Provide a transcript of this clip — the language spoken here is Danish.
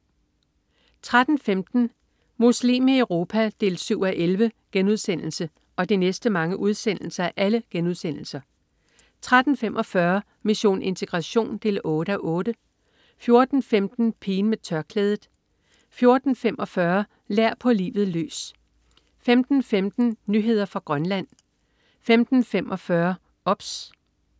13.15 Muslim i Europa 7:11* 13.45 Mission integration 8:8* 14.15 Pigen med tørklædet* 14.45 Lær på livet løs* 15.15 Nyheder fra Grønland* 15.45 OBS*